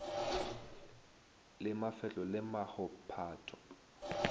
le mafehlo le maho pato